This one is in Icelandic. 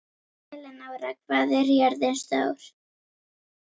Elenóra, hvað er jörðin stór?